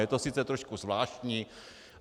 Je to sice trošku zvláštní.